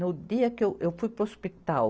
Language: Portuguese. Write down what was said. No dia que eu, eu fui para o hospital,